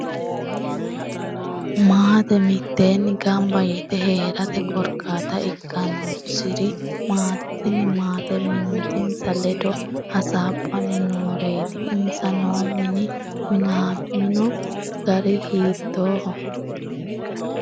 Maate miteeni ganba yite heerate korkaata ikkanoswri maati tini maate mimitinsa leddo hasaabni nooriaati insa noo mini minamino gari hiitooho